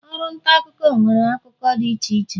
oru nta akuko nwere akụkụ di iche iche.